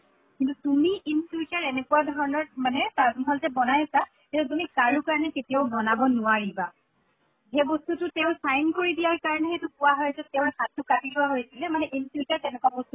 কিন্তু তুমি in future এনেকুৱা ধৰণৰ মানে তাজ মহল যে বনাইছা এইটো তুমি কাৰো কাৰণে কেতিয়াও বনাব নোৱাৰিবা। সেই বস্তুটো তেওঁ sign কৰি দিয়াৰ কাৰণেহে এইটো কোৱা হয় যে তেওঁৰ হাত্টো কাটি লোৱা হৈছিলে মানে in future তেনেকুৱা বস্তুতো